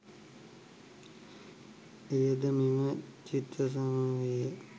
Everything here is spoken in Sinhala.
එයද මෙම චිත්‍ර සමූහයේ